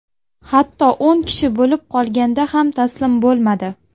Hatto o‘n kishi bo‘lib qolganda ham taslim bo‘lmadi.